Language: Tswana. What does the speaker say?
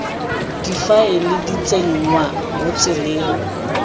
difaele di tsenngwa mo tseleng